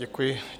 Děkuji.